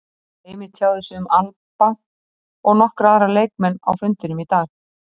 Heimir tjáði sig um Alba og nokkra aðra leikmenn á fundinum í dag.